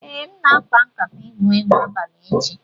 Ee, m na-akpa nkatay igwu egwu abalị echi.